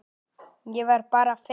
Ég var bara feimin!